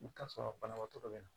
I bɛ taa sɔrɔ banabaatɔ dɔ bɛ na